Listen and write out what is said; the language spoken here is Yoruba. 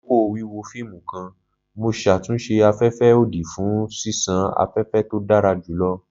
Lakoko wiwo fiimu kan, Mo ṣatunṣe afẹfẹ odi fun ṣiṣan afẹfẹ to dara julọ.